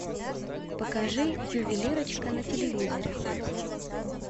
покажи ювелирочка на телевизоре